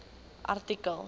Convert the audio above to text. artikel